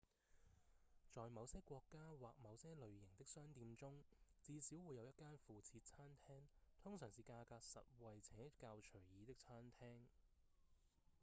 在某些國家或某些類型的商店中至少會有一間附設餐廳通常是價格實惠且較隨意的餐廳